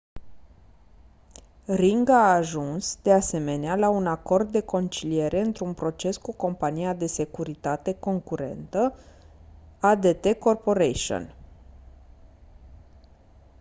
ring a ajuns de asemenea la un acord de conciliere într-un proces cu compania de securitate concurentă adt corporation